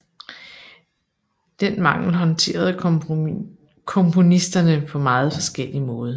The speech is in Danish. Den mangel håndterede komponisterne på meget forskellig måde